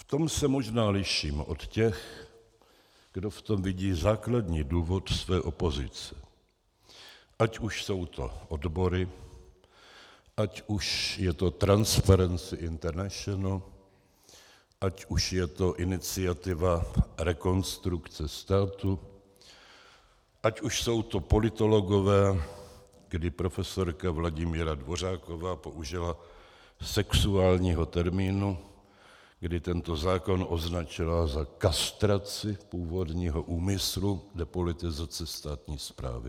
V tom se možná liším od těch, kdo v tom vidí základní důvod své opozice, ať už jsou to odbory, ať už je to Transparenty International, ať už je to iniciativa Rekonstrukce státu, ať už jsou to politologové, kdy profesorka Vladimíra Dvořáková použila sexuálního termínu, kdy tento zákon označila za kastraci původního úmyslu depolitizace státní správy.